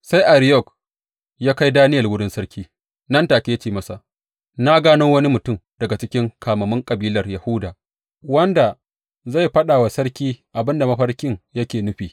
Sai Ariyok ya kai Daniyel wurin sarki nan take ya ce masa, Na gano wani mutum daga cikin kamammun kabilar Yahuda wanda zai faɗa wa sarki abin da mafarkin yake nufi.